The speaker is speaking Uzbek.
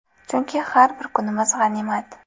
Chunki har bir kunimiz g‘animat.